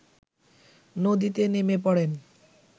নদীতে নেমে পড়েন